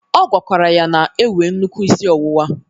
Ọ gwakwara ya na-enwe nnukwu isi ọwụwa.